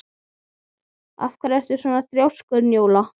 Af hverju ertu svona þrjóskur, Njóla?